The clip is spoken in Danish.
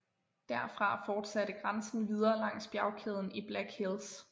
Derfra forsatte grænsen videre langs bjergkæden i Black Hills